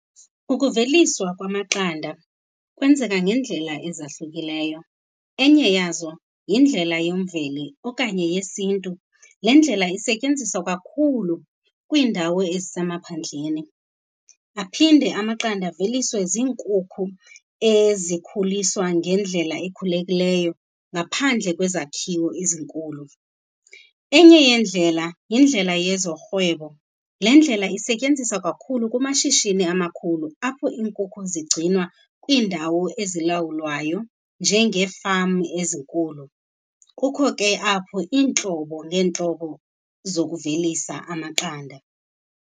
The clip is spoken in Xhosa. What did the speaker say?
Ukuveliswa kwamaqanda kwenzeka ngeendlela ezahlukileyo. Enye yazo yindlela yemveli okanye yesiNtu. Le ndlela isetyenziswa kakhulu kwiindawo ezisemaphandleni. Aphinde amaqanda aveliswe ziinkukhu ezikhuliswa ngendlela ekhululekileyo ngaphandle kwezakhiwo ezinkulu. Enye yeendlela yindlela yezorhwebo. Le ndlela isetyenziswa kakhulu kumashishini amakhulu apho iinkukhu zigcinwa kwiindawo ezilawulwayo njengee-farm ezinkulu. Kukho ke apho iintlobo ngeentlobo zokuvelisa amaqanda.